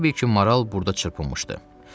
Elə bil ki, maral burda çırpınmışdı.